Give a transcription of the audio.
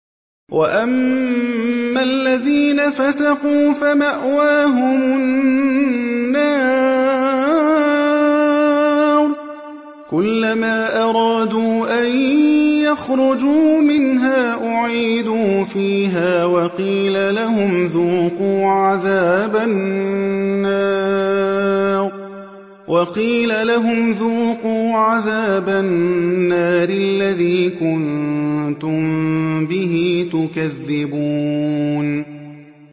وَأَمَّا الَّذِينَ فَسَقُوا فَمَأْوَاهُمُ النَّارُ ۖ كُلَّمَا أَرَادُوا أَن يَخْرُجُوا مِنْهَا أُعِيدُوا فِيهَا وَقِيلَ لَهُمْ ذُوقُوا عَذَابَ النَّارِ الَّذِي كُنتُم بِهِ تُكَذِّبُونَ